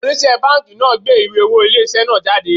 Onise banki náà gbé ìwé owó ilé isẹ náà jáde